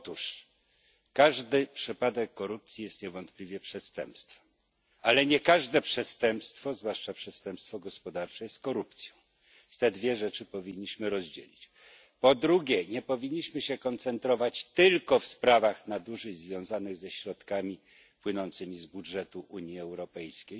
Otóż każdy przypadek korupcji jest niewątpliwie przestępstwem, ale nie każde przestępstwo, zwłaszcza przestępstwo gospodarcze, jest korupcją. Te dwie rzeczy powinniśmy rozdzielić. Po drugie, nie powinniśmy się koncentrować tylko na sprawach nadużyć związanych ze środkami płynącymi z budżetu Unii Europejskiej,